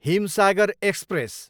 Himsagar express